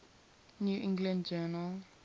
new england journal